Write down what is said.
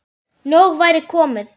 Nóg væri komið.